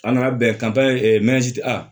An nana bɛn